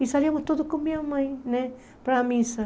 E saímos todos com a minha mãe né para a missa.